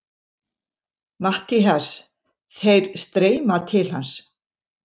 MATTHÍAS: Þeir streyma til hans.